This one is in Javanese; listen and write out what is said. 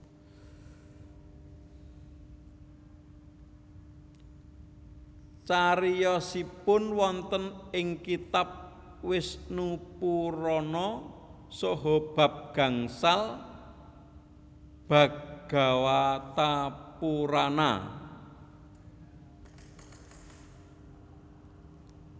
Cariyosipun wonten ing kitab Wisnupurana saha bab gangsal Bhagawatapurana